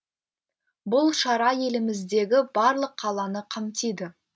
бұл шара еліміздегі барлық қаланы қамтиды